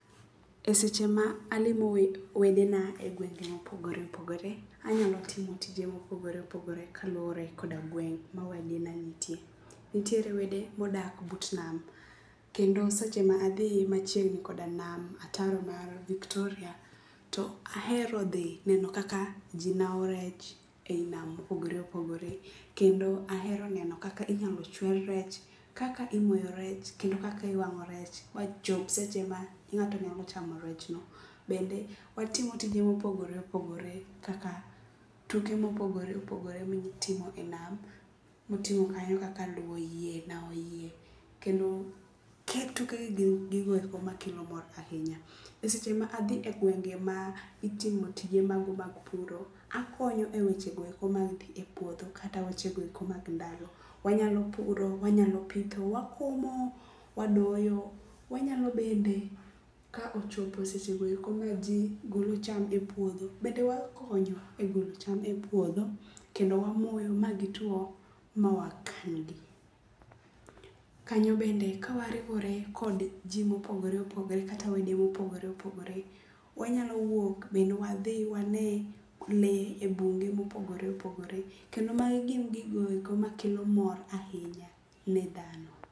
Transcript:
E seche ma alimo wede na e gwenge mopogore opogore, anyalo timo tije mopogore opogore kaluwore koda gweng' ma wedana nitie. Nitiere wede modak but nam kendo seche ma adhi machiegni koda nam ataro mar Viktoria. To ahero dhi neno kaka ji nao rech ei nam mopogore opogore. Kendo ahero neno kaka inyalo chwer rech, kaka imoyo rech kendo kaka iwang'o rech ma chop seche ma ng'ato nyalo chamo rechno. Bende watimo tije mopogore opogore kaka tuke mopogore opogore mitimo e nam moting'o kanyo kaka luwo yie, nao yie, kendo kit tukegi gin gigoeko makelo mor ahinya. E seche ma adhi e gwenge ma itimo tije mago mag puro, akonyo e weche goeko mag dhi e puodho kata wechegoeko mag ndalo. Wanyalo puro, wanyalo pitho, wakomo, wadoyo, wanyalo bende ka ochopo e seche goeko ma ji golo cham e puodho bende wakonyo e golo cham e puodho. Kendo wamoyo ma gituo mawakan gi. Kanyo bende ka wariwore kod ji mopogore opogore kata wede mopogore opogore, wanyalo wuok be wadhi wane le e bunge mopogore opogore. Kendo magi gin gigoeko makelo mor ahinya ne dhano.